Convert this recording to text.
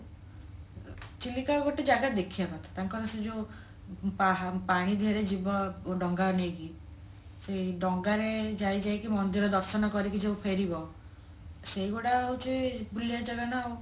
ଚିଲିକା ଗୋଟେ ଜାଗା ଦେଖିବା କଥା ତାଙ୍କର ସେ ଯୋଉ ପାହା ପାଣି ଧିଅରେ ଯିବ ଡଙ୍ଗା ନେଇକି ସେଇ ଡଙ୍ଗାରେ ଯାଇ ଯାଇକି ମନ୍ଦିର ଦର୍ଶନ କରିକି ଯୋଉ ଫେରିବ ସେଇ ଗୋଡା ହଉଛି ବୁଲିବା ଜାଗା ନାଉ